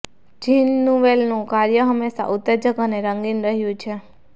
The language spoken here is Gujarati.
જીન નુવલેનું કાર્ય હંમેશા ઉત્તેજક અને રંગીન રહ્યું છે